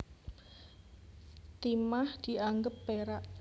Timah dianggep perak